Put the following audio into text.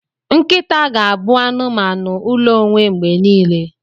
Nkịta ga-abụ anụmanụ ụlọ onwe mgbe niile.